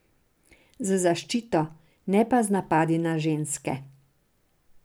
Z zaščito, ne pa z napadi na ženske!